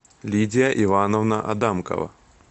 лидия ивановна адамкова